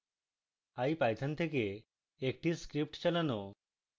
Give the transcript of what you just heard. ipython থেকে একটি script চালানো